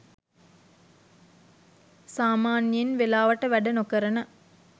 සාමාන්‍යයෙන් වෙලාවට වැඩ නොකරන